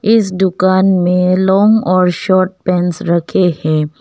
इस दुकान में लॉन्ग और शॉट पैंट्स रखे हैं।